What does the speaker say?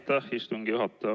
Aitäh, istungi juhataja!